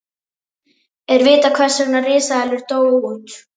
er vitað hvers vegna risaeðlur dóu út